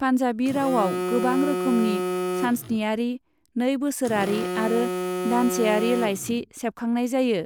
पान्जाबी रावआव गोबां रोखोमनि सानस्नियारि, नै बोसोरारि आरो दानसेयारि लाइसि सेबखांनाय जायो।